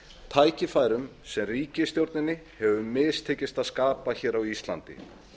tækifærum sem ríkisstjórninni hefur mistekist að skapa á íslandi